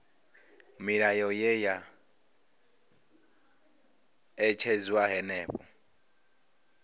milayo ye ya ṅetshedzwa henefho